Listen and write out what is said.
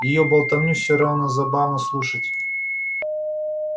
её болтовню все равно забавно слушать